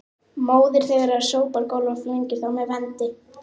Móðir þeirra sópar gólf og flengir þá með vendi